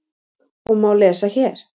og má lesa hér.